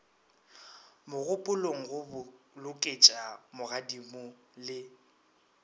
mogopolong go boloketša magodimo le